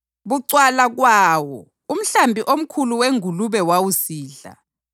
Bucwala kwawo umhlambi omkhulu wengulube wawusidla.